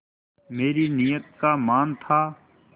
मेरी नीयत का मान था